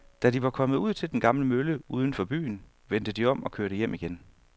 Da de var kommet ud til den gamle mølle uden for byen, vendte de om og kørte hjem igen.